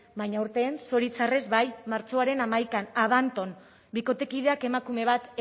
baina aurten zoritxarrez bai martxoaren hamaikan abanton bikotekideak emakume bat